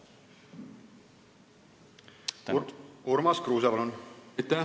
Urmas Kruuse, palun!